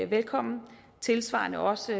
velkommen tilsvarende også